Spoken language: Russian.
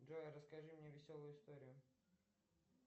джой расскажи мне веселую историю